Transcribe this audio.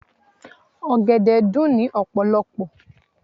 Ọ̀gẹ̀dẹ̀ dùn ní ọ̀pọ̀lọpọ̀.